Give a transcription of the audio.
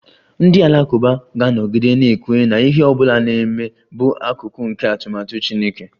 Ndị Alakụba ga-anọgide na-ekwenye na ihe ọ bụla na-eme bụ akụkụ nke atụmatụ Chineke